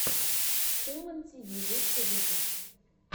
хумэн ти ви лучший выпуск